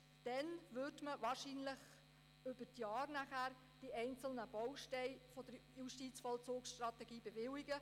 Erst dann würde man, wahrscheinlich über die Jahre, die einzelnen Bausteine der Justizvollzugsstrategie bewilligen.